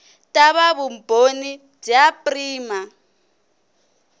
ta va vumbhoni bya prima